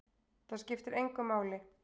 Það skiptir engu máli!